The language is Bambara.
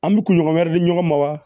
An bɛ kunɲɔgɔn wɛrɛ di ɲɔgɔn ma wa